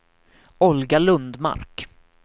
Olga Lundmark